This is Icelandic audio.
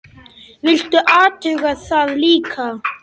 Viltu athuga það líka!